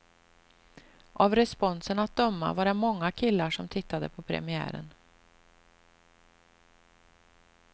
Av responsen att döma var det många killar som tittade på premiären.